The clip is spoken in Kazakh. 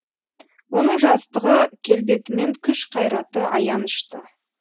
оның жастығы келбеті мен күш қайраты аянышты